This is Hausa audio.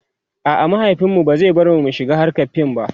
a'a mahaifinmu ba zai yarda In shiga hrkar fim ba